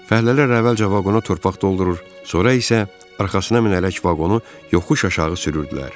Fəhlələr əvvəlcə vaqona torpaq doldurur, sonra isə arxasına minərək vaqonu yoxuş aşağı sürürdülər.